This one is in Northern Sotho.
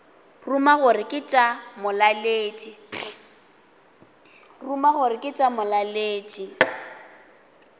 ruma gore ke tša molaletši